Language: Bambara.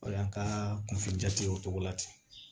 O y'an ka kunfin jati ye o cogo la ten